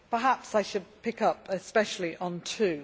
Perhaps I should pick up especially on two.